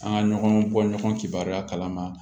An ka ɲɔgɔn bɔ ɲɔgɔn cɛbariya kalama